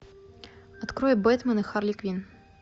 открой бэтмен и харли квинн